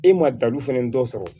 E ma dalu fɛn dɔ sɔrɔ